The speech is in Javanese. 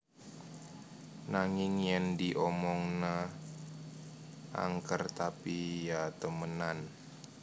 Nanging Yen di Omongna Angker Tapi Ya Temenan